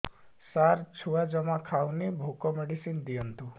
ସାର ଛୁଆ ଜମା ଖାଉନି ଭୋକ ମେଡିସିନ ଦିଅନ୍ତୁ